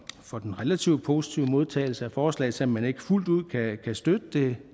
for den relativt positive modtagelse af forslaget selv om man ikke fuldt ud kan støtte det